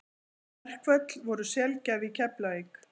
Verkföll voru sjaldgæf í Keflavík.